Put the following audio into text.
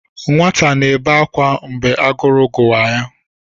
Nwata na-ebe ákwà ma agụrụ gụwa ya.